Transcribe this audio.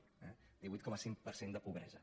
eh divuit coma cinc per cent de pobresa